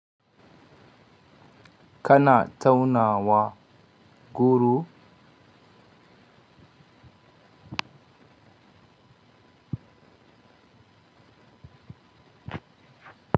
Kana taunawa guru?